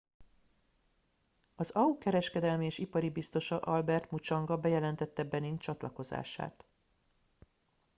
az au kereskedelmi és ipari biztosa albert muchanga bejelentette benin csatlakozását